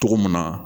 Cogo mun na